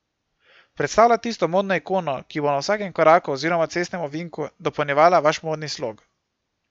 Predstavlja tisto modno ikono, ki bo na vsakem koraku oziroma cestnem ovinku dopolnjevala vaš modni slog.